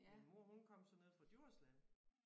Min mor hun kom så nede fra Djursland